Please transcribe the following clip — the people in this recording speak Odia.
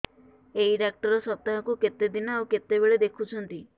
ଏଇ ଡ଼ାକ୍ତର ସପ୍ତାହକୁ କେତେଦିନ ଆଉ କେତେବେଳେ ଦେଖୁଛନ୍ତି